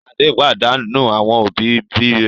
Ṣadé pàdánù àwọn òbí-òbí rẹ̀?